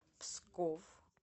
псков